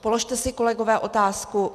Položte si, kolegové, otázku.